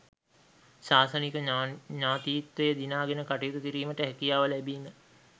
ශාසනික ඥතීත්වය දිනාගෙන කටයුතු කිරීමට හැකියාව ලැබීම